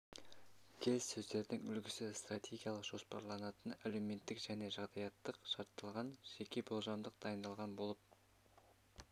келіссөздердің үлгісі стратегиялық-жоспарланатын әлеуметтік және жағдаяттық шартталған жеке болжамдық дайындалған болып